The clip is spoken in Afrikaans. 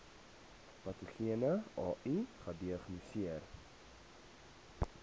patogene ai gediagnoseer